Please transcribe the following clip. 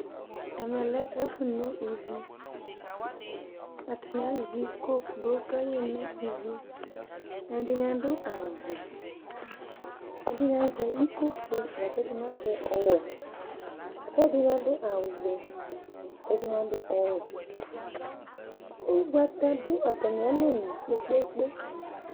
Ɛmɛ lɛ ɛfʋ no iviAtanɩ azɛ iko gblo kayeno ivi; ɛdɩnɩ adʋ awʋ vɛ, ɛdɩnɩ azɛ iko fue ,lakɛdɩnɩ azɛ ɔwɛ kɛdɩnɩ adʋ awʋ vɛ, kɛdɩnɩ adʋ ɔwɛƲgbata dʋ atamɩalonu kpekpekpe